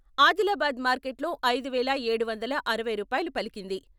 ఆదిలాబాద్ మార్కెట్లో ఐదు వేల ఏడు వందల అరవై రూపాయలు పలికింది.